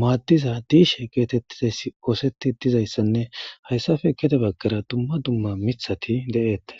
maaddiza diishe geetettides ooseti dizayssanne hayssafe kede baggara dumma dumma mithati de'eettes.